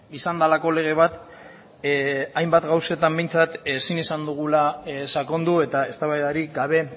izan delako lege bat hainbat gauzetan behintzat ezin izan dugula sakondu eta eztabaidarik gabe